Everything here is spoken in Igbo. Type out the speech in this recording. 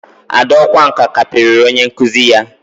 Ada ọkwá nkà kparịrị onye nkụzi ya